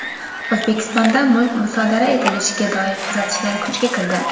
O‘zbekistonda mulk musodara etilishiga doir tuzatishlar kuchga kirdi.